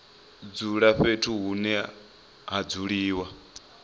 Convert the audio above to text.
dzula fhethu hune ha dzuliwa